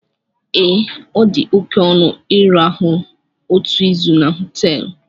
Ee, ọ dị oke ọnụ ịrahụ otu izu na họteelụ